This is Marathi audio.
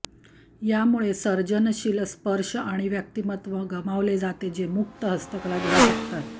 यामुळे सर्जनशील स्पर्श आणि व्यक्तिमत्व गमावले जाते जे मुक्त हस्तकला देऊ शकतात